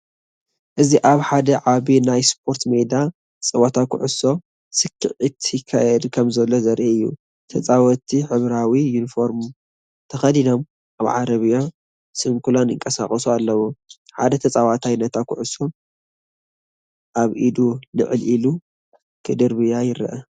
እዚ ኣብ ሓደ ዓቢ ናይ ስፖርት ሜዳ ጸወታ ኩዕሶ ሰኪዔት ይካየድ ከምዘሎ ዘርኢ እዩ። ተጻወትቲ ሕብራዊ ዩኒፎርም ተኸዲኖም ኣብ ዓረብያ ስንኩላን ይንቀሳቐሱ ኣለዉ። ሓደ ተጻዋታይ ነታ ኩዕሶ ኣብ ኢዱ ልዕል ኢሉ ክድርብያ ይረአ።